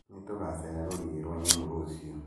Nĩtũgacererera rũriĩ rwa nyamũ rũciũ